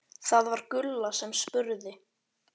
Það var Gulla sem spurði.